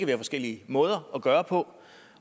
være forskellige måder at gøre på